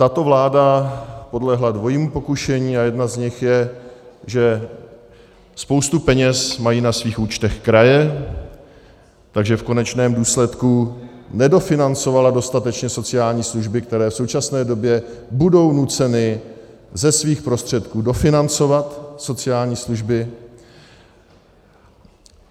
Tato vláda podlehla dvojímu pokušení a jedno z nich je, že spoustu peněz mají na svých účtech kraje, takže v konečném důsledku nedofinancovala dostatečně sociální služby, které v současné době budou nuceny ze svých prostředků dofinancovat sociální služby.